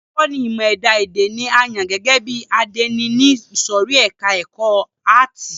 Olùkọ́ni ìmọ ẹ̀dá èdè ni a yàn gẹ́gẹ́ bí àdénì ní ìsòrí ẹka ẹ̀kọ́ àátì.